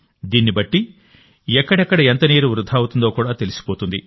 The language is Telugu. దీన్ని బట్టి ఎక్కడెక్కడ ఎంత నీరు వృథా అవుతుందో కూడా తెలిసిపోతుంది